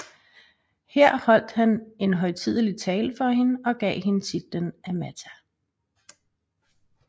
Her holdt han en højtidelig tale for hende og gav hende titlen Amata